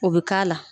O bɛ k'a la